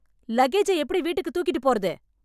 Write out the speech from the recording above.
லக்கேஜை எப்படி வீட்டுக்கு தூக்கிட்டு போறது?